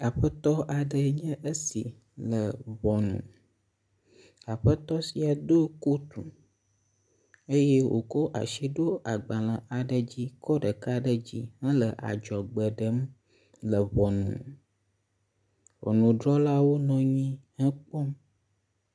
Aƒetɔ aɖee nye esi le ŋɔnu. Aƒetɔ sia do kotu eye wokɔ asi ɖo agbale aɖe dzi kɔ ɖeka ɖe dzi he adzɔgbe ɖem le ŋɔnu. Ŋɔnudrɔlawo nɔ anyi he ekpɔm.